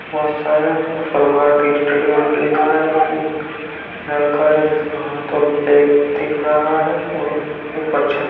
बहुत सारे उस पर भारतीय स्टेट बैंक लिखा है एक लड़का है जिसका हाथ और बैग दिख रहा है और ऊपर छत --